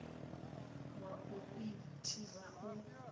wa u i thivha u